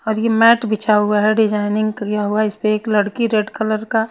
और ये मॉट बिछाया हुआ है डिज़ायनिंग किया हुआ है इसपे एक लड़की रेड कलर का --